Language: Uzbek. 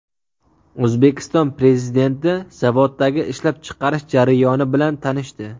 O‘zbekiston Prezidenti zavoddagi ishlab chiqarish jarayoni bilan tanishdi.